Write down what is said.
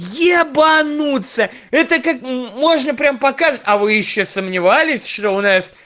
ебануться это как можно прямо показать а вы ещё сомневались что у нас